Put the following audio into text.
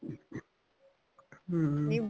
ਹਮ